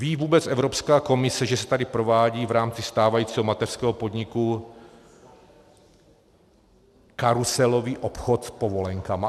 Ví vůbec Evropská komise, že se tady provádí v rámci stávajícího mateřského podniku karuselový obchod s povolenkami?